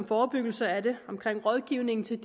forebyggelse af det og rådgivning til